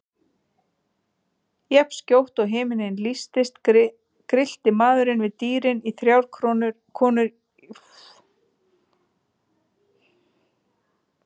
Jafnskjótt og himinninn lýstist grillti maðurinn við dýrin í þrjár konur í fjarskanum.